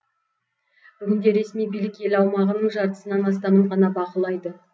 бүгінде ресми билік ел аумағының жартысынан астамын ғана бақылайды